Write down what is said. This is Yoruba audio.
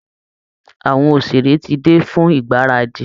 Àwọn òṣèré ti dé fún ìgbáradì